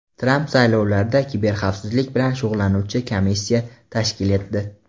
Tramp saylovlarda kiberxavfsizlik bilan shug‘ullanuvchi komissiya tashkil etdi.